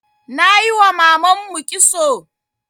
Nayiwa mamanmu kitso